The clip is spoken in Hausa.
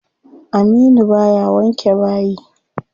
Aminu baya wanke bayi.